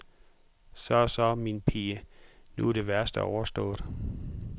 Så, så min pige, nu er det værste overstået.